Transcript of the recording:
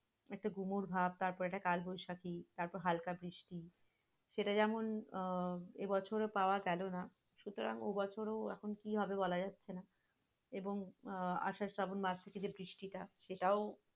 একটা গুমুট ভাবে তারপরেটা কালবৈশাখী, তারপর হালকা বৃষ্টি সেটা যেমন আহ এবছর পাওয়াগেল না সুতারং ওবছরো এখন কি হবে? বলাযাচ্ছে না এবং আহ আষাঢ় শ্রাবণ মাস থেকে যে বৃষ্টিটা সেটাও